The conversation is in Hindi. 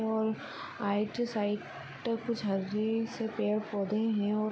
और आइट साइट कुछ हर्रे से पेड़ पौधे है और--